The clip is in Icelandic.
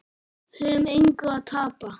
Við höfum engu að tapa.